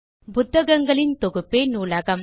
புத்தகங்களின் தொகுப்பே நூலகம்